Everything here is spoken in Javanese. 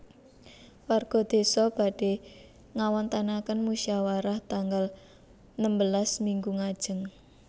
Warga desa badhe ngawontenaken musyawarah tanggal nembelas minggu ngajeng